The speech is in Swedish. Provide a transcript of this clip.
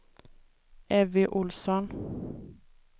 Evy Ohlsson